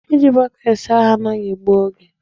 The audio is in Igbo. Iji bọket saa ahụ anaghị egbu oge.